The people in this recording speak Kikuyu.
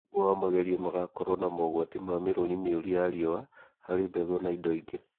ũmwe wa magerio magakorwo na mogwati ma mĩrũri mĩũru ya riũa harĩ mbegu na indo ingĩ